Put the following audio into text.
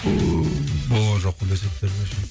болған жоқпын десек те